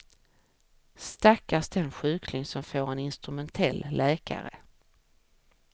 Stackars den sjukling som får en instrumentell läkare.